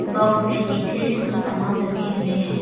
Box के पीछे भी कुछ सामान रखे हुए हैं।